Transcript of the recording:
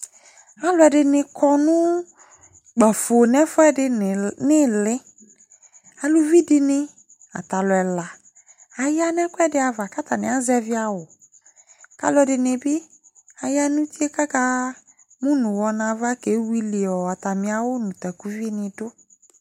Alʋɛdɩnɩ kɔ nʋ kpafo nʋ ɛfʋɛdɩ nʋ ɩɩlɩ Aluvi dɩnɩ, ata alʋ ɛla aya nʋ ɛkʋɛdɩ ava kʋ atanɩ azɛvɩ awʋ kʋ alʋɛdɩnɩ bɩ aya nʋ uti yɛ kʋ amu nʋ ʋɣɔ nʋ ava kewili ɔ atamɩ awʋ nʋ takuvinɩ dʋ